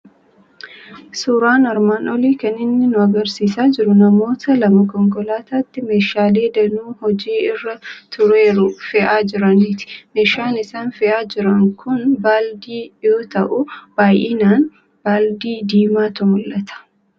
Suuraan armaan olii kan inni nu argisiisaa jiru namoota lama konkolaataatti meeshaalee danuu hojii irra tureeru fe'aa jiraniiti. Meeshaan isaan fe'ee jiran kun baaldii yoo ta'u, baay'inaan baaldii diimaatu mul'ata.